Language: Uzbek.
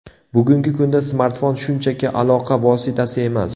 Bugungi kunda smartfon shunchaki aloqa vositasi emas.